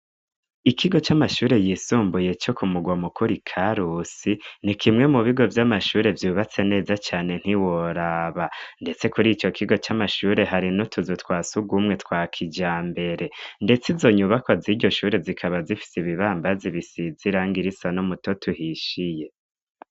Ikigo c'amashure yisumbuye co kumugwa mukuru karusi ni kimwe mu bigo vy'amashure vyubatse neza cane ntiworaba, ndetse kuri ico kigo c'amashure hari no tuzu twasugumwe twa kija mbere, ndetse izonyubakwa z'iryo shure zikaba zifise ibibambazi bisizirange irisa no muto tuhishiye.